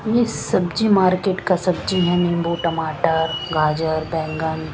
ये सब्जी मार्किट का सब्जी है निम्बू टमाटर गाजर बेंगन--